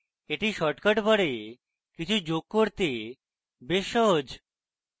এটি shortcut bar কিছু যোগ করতে বেশ সহজ